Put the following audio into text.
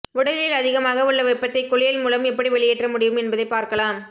உடலில் அதிகமாக உள்ள வெப்பத்தை குளியல் மூலம் எப்படி வெளியேற்ற முடியும் என்பதை பார்க்கலாம்